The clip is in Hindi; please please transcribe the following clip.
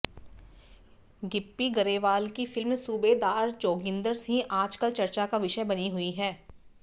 गिप्पी गरेवाल की फिल्म सूबेदार जोगिंदर सिंह आज कल चर्चा का विषय बनी हुई है